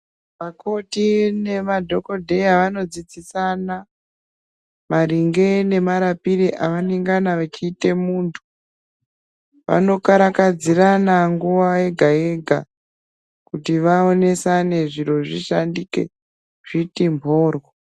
Vakoti nemadhokodheya, vanodzidzisana, maringe nemarapire avanengana vechiite muntu. Vanokarakadzirana nguva yega-yega, kuti zviri zvishandike, zviti mphoryo.